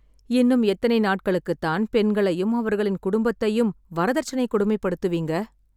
இன்னும் எத்தனை நாட்டுகளுக்கு தான் பெண்களையும் அவர்களின் குடும்பத்தையும் வரதட்சணை கொடுமை படுத்துவிங்க